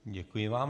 Děkuji vám.